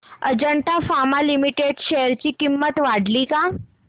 Ajanta pharma limited च्या share ची किंमत वाढली का